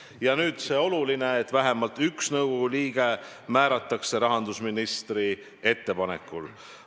Ja nüüd, oluline on, et vähemalt üks nõukogu liige määratakse rahandusministri ettepanekul.